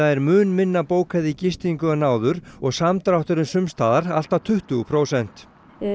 er mun minna bókað í gistingu en áður og samdrátturinn sums staðar allt að tuttugu prósent